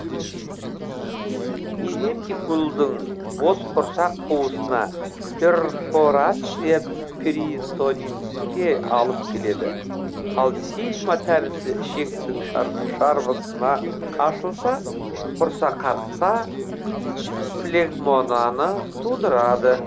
дивертикулдың бос құрсақ қуысына перфорация притонитке алып келеді ал сигма тәрізді ішектің шарбысына ашылса құрсақартта флегмонаны тудырады